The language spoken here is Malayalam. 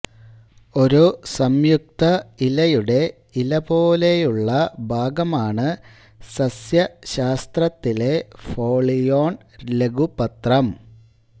ഒരു സംയുക്ത ഇലയുടെ ഇല പോലെയുള്ള ഭാഗമാണ് സസ്യശാസ്ത്രത്തിലെ ഫോളിയോൾ ലഘുപത്രം